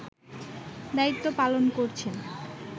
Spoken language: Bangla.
দায়িত্ব পালন করছেন